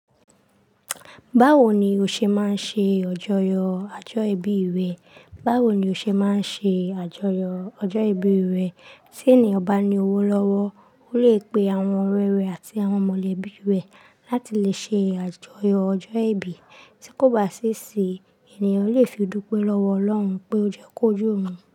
Báwo ni o ṣe máa ń ṣe ọjọ́yọ ọjọ́ ìbí rẹ? Báwo ni o ṣe máa ń ṣe àjọyọ̀ ọjọ́ ìbí rẹ? Tí ènìyàn bá ní owó lọ́wọ́, ó lè pe àwọn ọ̀rẹ́ rẹ̀ àti àwọn mọ̀lẹ́bí rẹ̀ láti lè ṣe àjọyọ̀ ọjọ́ ìbí. Tí kò bá sì sí i, ènìyàn lè fi dúpẹ́ lọ́wọ́ Ọlọ́run pé ó jẹ́ kó jó òun.